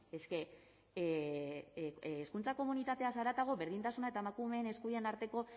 eske hezkuntza komunitateaz haratago berdintasuna eta emakumeen eskubideen arteko